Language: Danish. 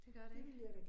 Det gør det ikke